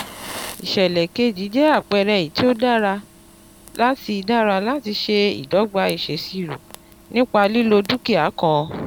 ìsèlè keji jẹ́ àpẹẹrẹ èyí tó dára láti dára láti ṣe ìdogba ìsèṣirò nípa lílo dúkìá kan.